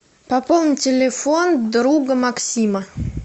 пополни телефон друга максима